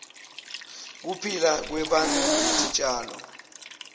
kuphila kwebantu netitjalo